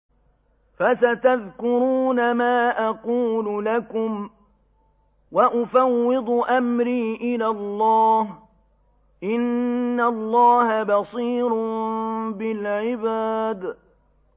فَسَتَذْكُرُونَ مَا أَقُولُ لَكُمْ ۚ وَأُفَوِّضُ أَمْرِي إِلَى اللَّهِ ۚ إِنَّ اللَّهَ بَصِيرٌ بِالْعِبَادِ